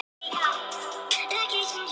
Málið fer nú fyrir dómstóla